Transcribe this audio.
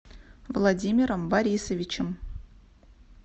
владимиром борисовичем